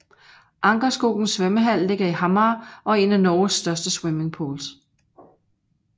Ankerskogen svømmehall ligger i Hamar og er en af Norges største swimmingpools